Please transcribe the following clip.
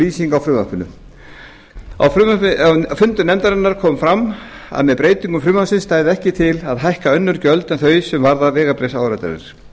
lýsing á frumvarpinu á fundum nefndarinnar kom fram að með breytingum frumvarpsins stæði ekki til að hækka önnur gjöld en þau sem varða vegabréfsáritanir